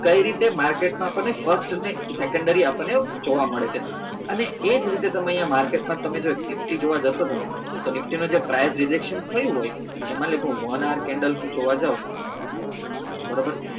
કઈ રીતે market માં આપણને first અને secondary આપણને જોવા મળે છે અને એ જ રીતે તમે અહિયાં market માં તમે જો nifty જોવા જશો તમે તો nifty નું જે price rejection થયું હોય એમાં લખ્યું મોનાર candle ને જોવા જાઓ બરોબર